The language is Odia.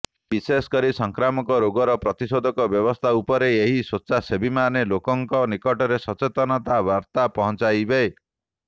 ବିଶେଷକରି ସଂକ୍ରାମକ ରୋଗର ପ୍ରତିଷେଧକ ବ୍ୟବସ୍ଥା ଉପରେ ଏହି ସ୍ବେଚ୍ଛାସେବୀମାନେ ଲୋକଙ୍କ ନିକଟରେ ସଚେତନତା ବାର୍ତ୍ତା ପହଞ୍ଚାଇବେ